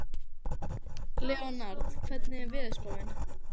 Leonhard, hvernig er veðurspáin?